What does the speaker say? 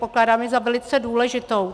Pokládám ji za velice důležitou.